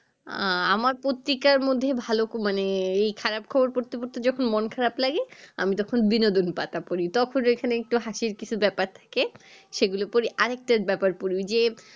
আহ আমার পত্রিকার মধ্যে ভালো মানে এই খারপ খবর পড়তে পড়তে যখন মন খারাপ লাগে আমি তখন বিনোদনের পাতা পড়ি তখন এখানে একটু হাসির কিছু ব্যাপার থাকে সেগুলো পড়ি আর একটা ব্যাপার পড়ি ওই যে